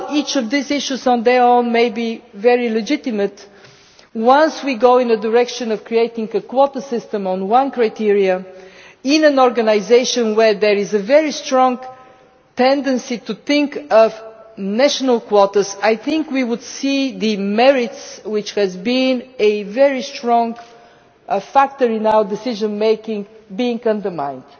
While each of these issues on their own may be very legitimate, once we go in the direction of creating a quota system on one criterion in an organisation where there is a very strong tendency to think of national quotas, I think we would see the merits, which has been a very strong factor in our decision making, being undermined.